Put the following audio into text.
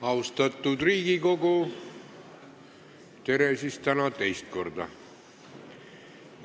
Austatud Riigikogu, tere siis täna teist korda!